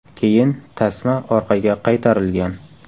Keyin tasma orqaga qaytarilgan.